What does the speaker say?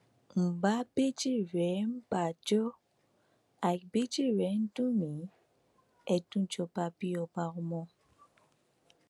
n bá bẹjìrẹ ǹ bá jọ àì bẹjẹrẹ dùn mí ẹdùnjọbabí ọba ọmọ